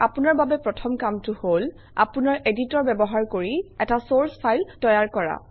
আপোনাৰ বাবে প্ৰথম কামটো হল আপোনাৰ এডিটৰ ব্যৱহাৰ কৰি এটা চৰ্চ ফাইল তৈয়াৰ কৰা